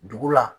Dugu la